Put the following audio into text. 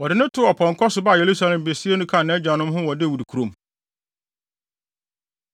Wɔde no too ɔpɔnkɔ so baa Yerusalem besiee no kaa nʼagyanom ho wɔ Dawid kurom.